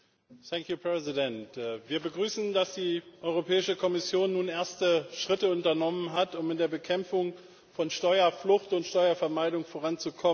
Frau Präsidentin! Wir begrüßen, dass die Europäische Kommission nun erste Schritte unternommen hat, um in der Bekämpfung von Steuerflucht und Steuervermeidung voranzukommen.